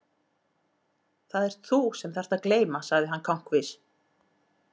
Það ert þú sem þarft að gleyma sagði hann kankvís.